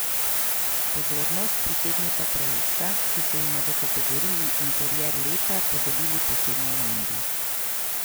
Pozornost pritegneta projekta, ki so jima v kategoriji interier leta podelili posebni omembi.